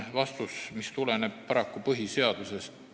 Vastus tuleneb paraku põhiseadusest.